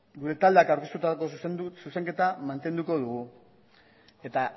gure taldeak aurkeztutako zuzenketa mantenduko dugu eta